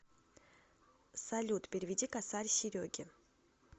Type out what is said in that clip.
салют переведи косарь сереге